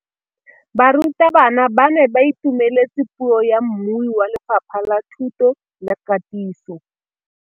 Barutabana ba ne ba itumeletse puô ya mmui wa Lefapha la Thuto le Katiso.